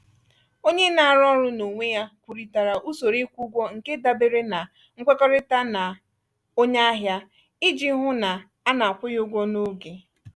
onye na-arụ ọrụ n’onwe ya kwurịtara usoro ịkwụ ụgwọ nke dabere na nkwekọrịta na onye ahịa iji hụ na a na-akwụ ya ụgwọ n’oge.